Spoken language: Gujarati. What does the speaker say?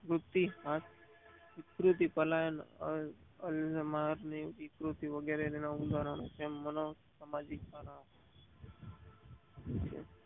વિકૃતિ પ્રાણાયામોઃ આલમનો વિકૃત વગેરે અને ઉદારનો છે જેમ મનોસામાજિક કારણો